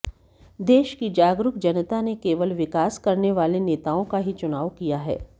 देश की जागरूक जनता ने केवल विकास करने वाले नेताओं का ही चुनाव किया है